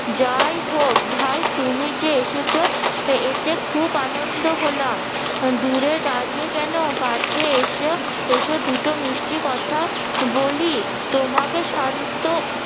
যাই হোক ভাই তুমি যে এসেছো এতে খুব আনন্দ হলাম, দূরে দাঁড়িয়ে কেন কাছে এসো, এসো দুটো মিষ্টি কথা বলি তোমাকে শান্ত